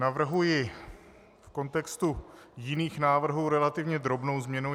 Navrhuji v kontextu jiných návrhů relativně drobnou změnu.